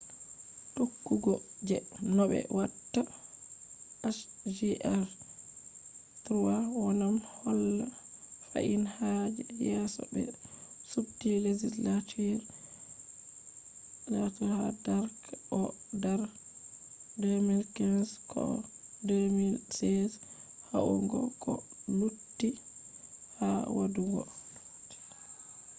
tokkugo je nobe watta hjr-3 wawan holla fahin ha je yeso be subti legislature ha dark oh dar 2015 koh 2016 yahugo koh lutii ha wadugo